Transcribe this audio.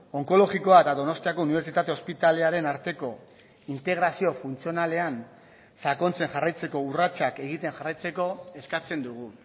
onkologikoa eta donostiako unibertsitate ospitalearen arteko integrazio funtzionalean sakontzen jarraitzeko urratsak egiten jarraitzeko eskatzen dugu